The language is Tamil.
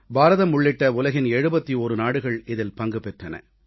பாரதம் உள்ளிட்ட உலகின் 71 நாடுகள் இதில் பங்கு பெற்றன